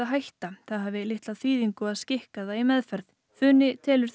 hætta það hafi litla þýðingu að skikka það í meðferð funi telur